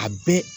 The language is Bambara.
A bɛɛ